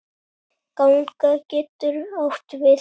Ganga getur átt við